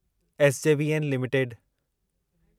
SJVN limited